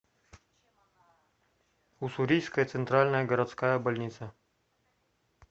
уссурийская центральная городская больница